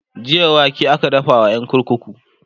jiya wake aka dafa wa ƴan kurkuku